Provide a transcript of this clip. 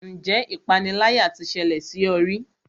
Ǹjẹ́ ipániláyà tí ṣẹlẹ̀ sí ọ rí?